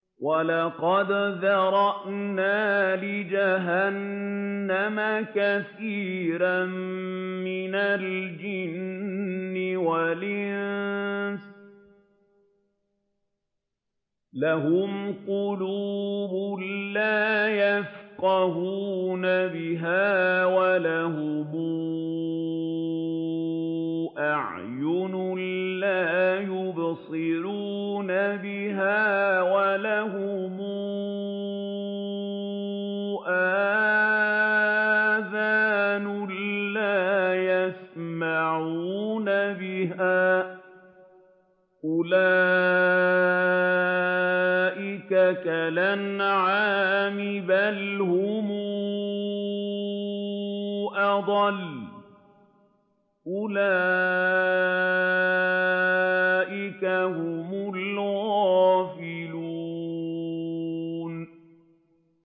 وَلَقَدْ ذَرَأْنَا لِجَهَنَّمَ كَثِيرًا مِّنَ الْجِنِّ وَالْإِنسِ ۖ لَهُمْ قُلُوبٌ لَّا يَفْقَهُونَ بِهَا وَلَهُمْ أَعْيُنٌ لَّا يُبْصِرُونَ بِهَا وَلَهُمْ آذَانٌ لَّا يَسْمَعُونَ بِهَا ۚ أُولَٰئِكَ كَالْأَنْعَامِ بَلْ هُمْ أَضَلُّ ۚ أُولَٰئِكَ هُمُ الْغَافِلُونَ